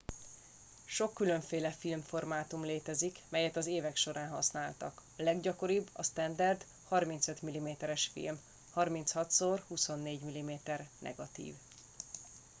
sok különféle filmformátum létezik melyet az évek során használtak. a leggyakoribb a standard 35 mm-es film 36x24 mm negatív